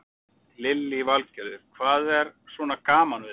Lillý Valgerður: Hvað er svona gaman við þetta?